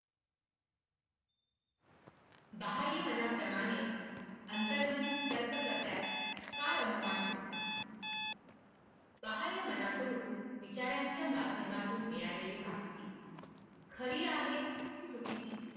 बाहय मनाप्रमाणे अंतर्मन तर्क करण्यात कर्मामान होत नाही बाहय माझ्याकडून विचारांच्या माध्यमातून मिळाले ली माहित खरी आहे कि चुकीची